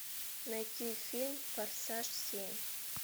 найти фильм форсаж семь